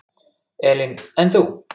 Elín: En þú?